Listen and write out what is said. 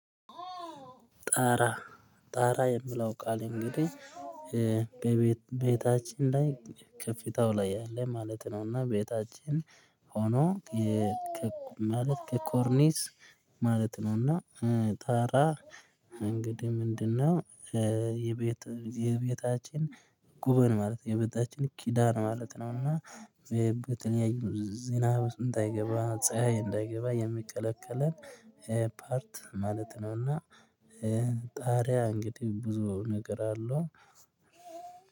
ጣራ የሚለው ቃል እንግዲህ በቤት ቤታችን ላይ ከፍታው ላይ ያለ ማለት ነው። እና ቤታችን ጣራ የምለው ቃል እንግዲህ በቤት ቤታችን ላይ ከፍተኛ ላይ ያለ ማለት ነው። እና ቤታችን የቤታችን ጉበን ማለት የቤታችን ኪዳን ማለት ነው። እና በተለያዩ ዝናብ ውስጥ እንዳይገባ ፀሀይ እንዳይገባ የሚከላከለን ፓርት ማለት ነውና። ጣሪያ እንግዲህ ብዙ ነገር አለው